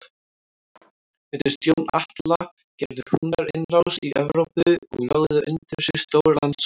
Undir stjórn Atla gerðu Húnar innrás í Evrópu og lögðu undir sig stór landsvæði.